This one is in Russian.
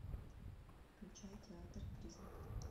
включай театр призраков